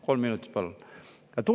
Kolm minutit, palun!